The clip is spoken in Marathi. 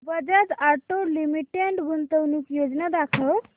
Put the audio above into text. बजाज ऑटो लिमिटेड गुंतवणूक योजना दाखव